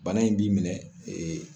Bana in b'i minɛ